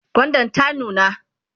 gwandan ta nuna?